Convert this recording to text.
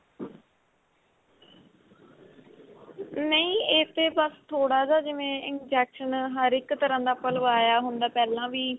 ਨਹੀਂ ਏ ਤੇ ਬੱਸ ਥੋੜਾ ਜਾ ਜਿਵੇਂ injection ਹਰ ਇੱਕ ਤਰਾਂ ਦਾ ਆਪਾਂ ਲਵਾਇਆ ਹੁੰਦਾ ਪਹਿਲਾਂ ਵੀ